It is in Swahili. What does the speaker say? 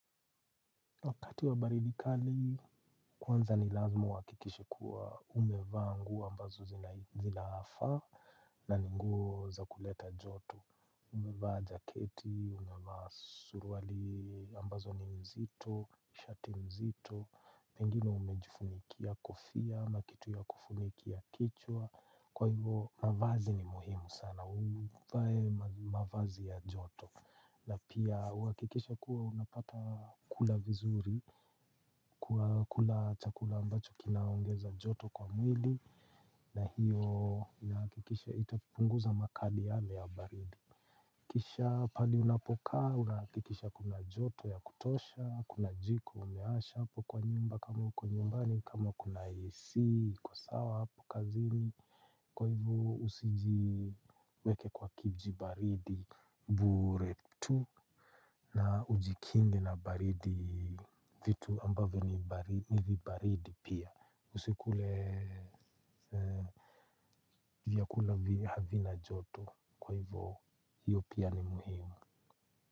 Wakati wa baridi kali, kwanza ni lazima uhakikishe kuwa umevaa nguo ambazo zinaafaa na ni nguo za kuleta joto. Umevaa jaketi, umevaa suruali ambazo ni mzito, shati mzito. Pengine umejifunikia kofia, ama kitu ya kufunikia kichwa. Kwa hivo, mavazi ni muhimu sana. Uvae mavazi ya joto. Na pia uhakikishe kuwa unapata kula vizuri, kula chakula ambacho kinaongeza joto kwa mwili. Na hiyo inahakikisha itapunguza makali yale ya baridi. Kisha pahali unapokaa, unahakikisha kuna joto ya kutosha, kuna jiko, umeasha hapo kwa nyumba kama uko nyumbani kama kuna AC, uko sawa hapo kazini. Kwa hivyo usijiweke kwa kijibaridi, bure tu. Na ujikinge na baridi vitu ambavyo ni baridi pia Usikule. Vyakula havina joto kwa hivo. Hiyo pia ni muhimu.